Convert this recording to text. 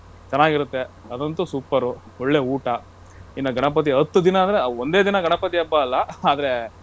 ಚೆನ್ನಾಗಿರುತ್ತೆ ಅದಂತೂ super ಒಳ್ಳೆ ಊಟ, ಇನ್ನಾ ಗಣಪತಿ ಹತ್ ದಿನ ಅಂದ್ರೆ ಒಂದೇ ದಿನ ಗಣಪತಿ ಹಬ್ಬ ಅಲ್ಲ ಆದ್ರೆ.